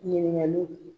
Ɲininkaliw